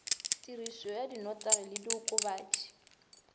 tirišo ya dinotagi le diokobatši